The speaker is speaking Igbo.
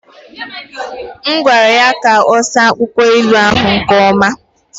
M gwara ya ka ọ saa akwụkwọ ilu ahụ nke ọma.